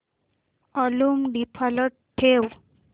volume default ठेव